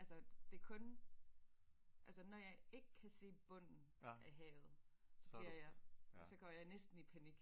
Altså det kun altså når jeg ikke kan se bunden af havet så bliver jeg så går jeg næsten i panik